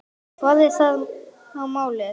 Hvað er þá málið?